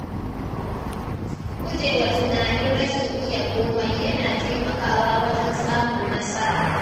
Gujewa tunanin rashin iya komai yana taimakawa wajen samun nasara.